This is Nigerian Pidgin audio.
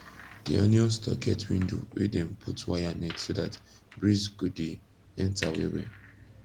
d onion store get window wey dem put wire net so that breeze go de enter well well